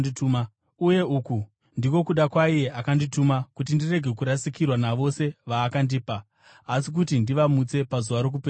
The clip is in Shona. Uye uku ndiko kuda kwaiye akandituma, kuti ndirege kurasikirwa navose vaakandipa, asi kuti ndivamutse pazuva rokupedzisira.